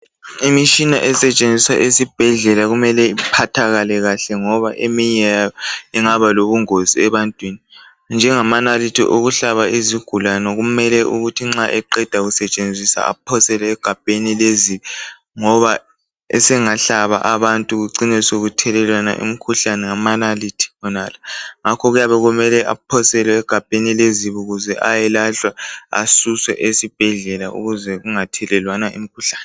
Imitshina esetshenziswa esibhedlela kumele iphathakale kahle ngoba eminye yakhona ingaba lobungozi ebantwini, njengamanalithi okuhlaba izigulani kumele ukuthi nxa umuntu eqeda kusebenzisa aphosele egabheni lezibi ngoba asengahlaba abantu kucine seluthelelwana imkhuhlane ngamanalithi wonala. Ngakho kuyabe sekumele aphoselwe egabheni lezibi ukuze ayelahlwa asuswe esibhedlela ukuze kungathelelwana imkhuhlane.